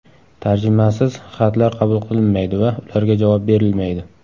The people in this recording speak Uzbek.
Tarjimasiz xatlar qabul qilinmaydi va ularga javob berilmaydi.